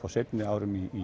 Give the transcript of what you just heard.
á seinni árum í